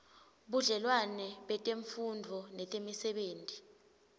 budlelwane betemfundvo netemisebenti